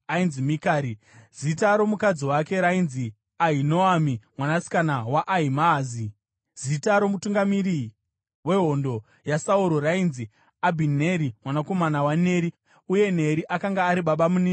Zita romukadzi wake rainzi Ahinoami, mwanasikana waAhimaazi. Zita romutungamiri wehondo yaSauro rainzi Abhineri, mwanakomana waNeri, uye Neri akanga ari babamunini vaSauro.